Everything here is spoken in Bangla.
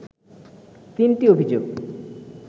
তিনটি অভিযোগ